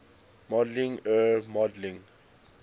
modeling er modeling